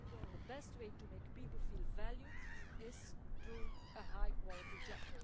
The best way to make people feel valued is through a high-quality job.